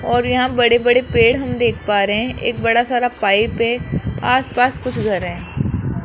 और यहां बड़े बड़े पेड़ हम देख पा रहे हैं एक बड़ा सारा पाइप है आसपास कुछ घर हैं।